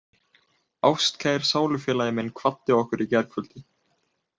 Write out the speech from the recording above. Ástkær sálufélagi minn kvaddi okkur í gærkvöldi.